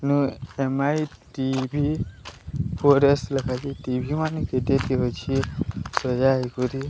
ଅଉଁ M I TV four S TV ମାନେ କେତେକର ଅଛି ସଜାଇ କରି।